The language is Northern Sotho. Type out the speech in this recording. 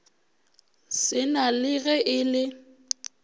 sena le ge e le